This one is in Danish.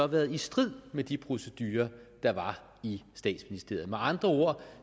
været i strid med de procedurer der var i statsministeriet med andre ord